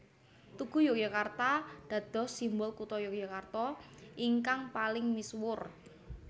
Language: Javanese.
Tugu Yogyakarta dados simbol Kutha Yogyakarta ingkang paling misuwur